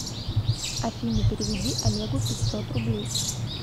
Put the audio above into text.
афина переведи олегу пятьсот рублей